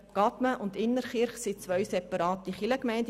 Gadmen und Innertkirchen sind zwei separate Kirchgemeinden.